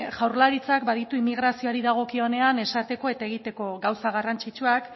jaurlaritzak baditu immigrazioari dagokionean esateko eta egiteko gauza garrantzitsuak